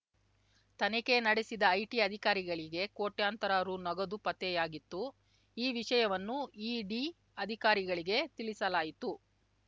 ತನಿಖೆ ನಡೆಸಿದ ಐಟಿ ಅಧಿಕಾರಿಗಳಿಗೆ ಕೋಟ್ಯಂತರ ರು ನಗದು ಪತ್ತೆಯಾಗಿತ್ತು ಈ ವಿಷಯವನ್ನು ಇಡಿ ಅಧಿಕಾರಿಗಳಿಗೆ ತಿಳಿಸಲಾಯಿತು